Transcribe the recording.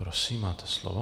Prosím, máte slovo.